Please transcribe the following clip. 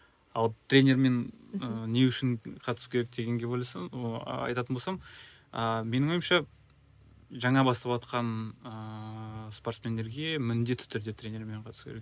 ал тренермен ы не үшін қатысу керек дегенге ойласам ы айтатын болсам ааа менің ойымша жаңа баставатқан ыыы спортсмендерге міндетті түрде тренермен қатысу керек